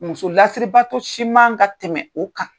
Muso lasiribaato si man ka tɛmɛ u kan.